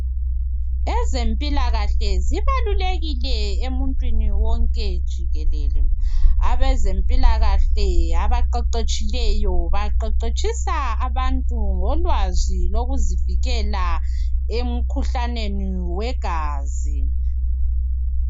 Ezempilakahle zibalulekile emuntwini wonke jikelele. Abezempilakahle abaqeqetshileyo baqeqetshisa abantu ngolwazi lokuzivikela emkhuhlaneni wegazi .